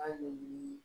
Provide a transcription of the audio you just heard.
Hali bi